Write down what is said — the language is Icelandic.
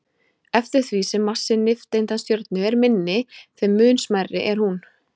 Eftir því sem massi nifteindastjörnu er minni, þeim mun smærri er hún.